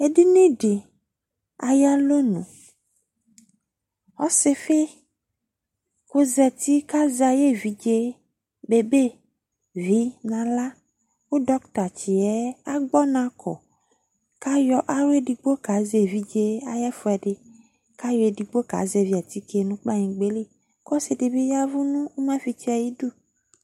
Edini dɩ ayʋ alɔnu Ɔsɩfɩ kʋ ɔzati kʋ azɛ ayʋ evidze yɛ bebevi nʋ aɣla kʋ dɔktatsɩ yɛ agbɔ ɔna kɔ kʋ ayɔ aɣla edigbo kazɛ evidze yɛ ayʋ ɛfʋɛdɩ kʋ ayɔ edigbo kazɛvɩ atike nʋ kplɔanyɩgba yɛ li kʋ ɔsɩ dɩ bɩ ya ɛvʋ nʋ ʋmafɩtsɩ yɛ ayidu